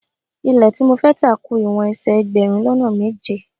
Ilẹ́ tí mo fẹ́ tà ku ìwọ̀n ẹsẹ̀ ẹgbẹ̀rún lọ́nà méje.